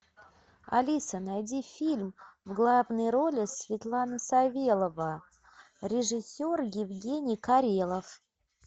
алиса найди фильм в главной роли светлана савелова режиссер евгений карелов